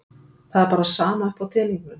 Það er bara sama upp á teningnum.